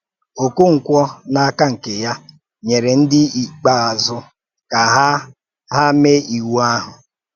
Okonkwo, n’áka nke ya, nyere ndị íkpe íwu ka ha ha mèé íwu ahụ̀